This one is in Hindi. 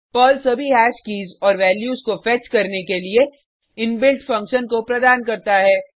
पर्ल सभी हैश कीज़ और वैल्यूज़ को फेच करने के लिए इनबिल्ट फंक्शन को प्रदान करता है